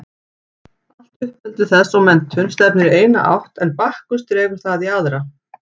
Allt uppeldi þess og menntun stefnir í eina átt en Bakkus dregur það í aðra.